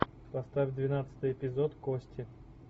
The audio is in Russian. поставь двенадцатый эпизод кости